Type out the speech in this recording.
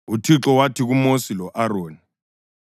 UThixo wathi kuMosi lo-Aroni: